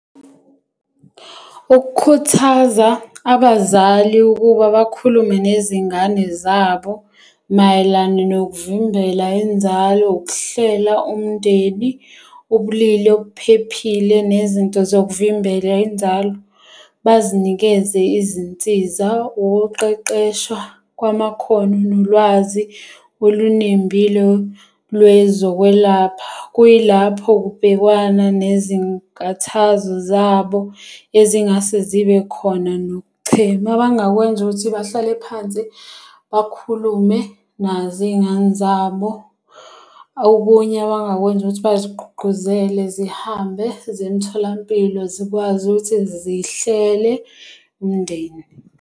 Ukukhuthaza abazali ukuba bakhulume nezingane zabo mayelana nokuvimbela inzalo, ukuhlela umndeni, ubulili obuphephile nezinto zokuvimbela inzalo. Bazinikeze izinsiza. Ukuqeqeshwa kwamakhono nolwazi olunembile lwezokwelapha. Kuyilapho kubhekwana nezinkathazo zabo ezingase zibe khona nokuchema. Abangakwenza ukuthi bahlale phansi bakhulume nazo iy'ngane zabo. Okunye abangakwenza ukuthi bazigqugqquzele zihambe ziye emtholampilo zikwazi ukuthi zihlele umndeni.